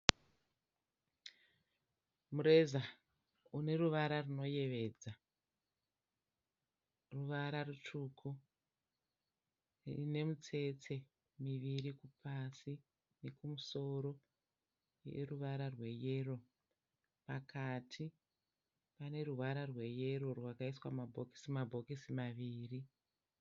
Mureza une ruvara runoyevedza. Ruvara rutsvuku ine mitsetse miviri pasi nekumusoro ine ruvara rweyero. Pakati pane ruvara rweyero rwakaiswa mabhokisi mabhokisi maviri.